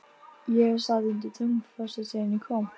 Erum við að tala um eignaraðild?